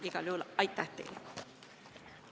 Igal juhul aitäh teile!